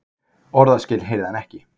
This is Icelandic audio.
Orðaskil heyrði hann ekki.